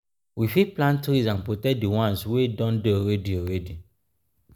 we fit plant trees and protect di ones wey don dey already already